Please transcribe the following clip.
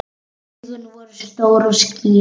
Augun voru stór og skýr.